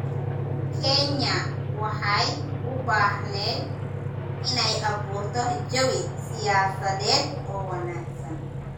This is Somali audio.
Kenya waxay u baahneyd inay abuurto jawi siyaasadeed oo wanaagsan.